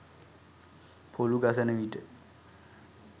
පොලු ගසන විට